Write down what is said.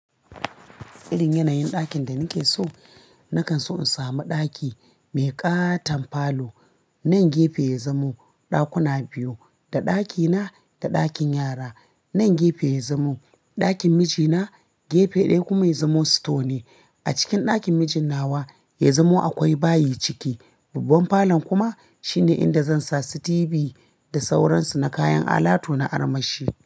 Irin yanayin ɗakin da nake so, nakan so in sami ɗaki mai ƙaton falo. Nan gefe ya zamo ɗakuna biyu, da ɗakina da ɗakin yara. Nan gefe ya zamo ɗakin mijina, gefe ɗaya kuma ya zamo store ne. A cikin ɗakin mijin nawa ya zamo akwai bayi ciki. Babban falon kuma shine inda zan sa su TV da sauransu na kayan alatu na armashi.